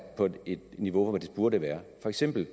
på et niveau hvor det burde være for eksempel